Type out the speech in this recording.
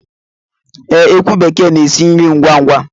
Ee, ekwu bekee na-esi nri ngwá ngwá